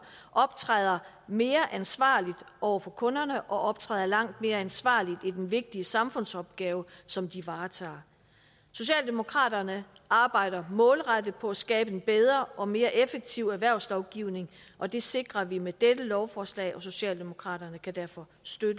optræder mere ansvarligt over for kunderne og optræder langt mere ansvarligt ved den vigtige samfundsopgave som de varetager socialdemokraterne arbejder målrettet på at skabe en bedre og mere effektiv erhvervslovgivning og det sikrer vi med dette lovforslag socialdemokraterne kan derfor støtte